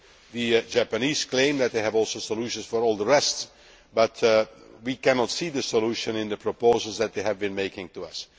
The Japanese claim that they have solutions for all the rest too, but we cannot see a solution in the proposals that they have been making to